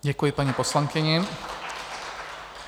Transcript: Děkuji paní poslankyni.